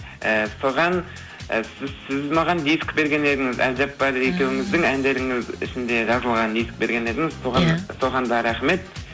і соған сіз сіз маған диск берген едіңіз әбжаппар екеуіңіздің әндеріңіз ішінде жазылған диск берген едіңіз ия соған да рахмет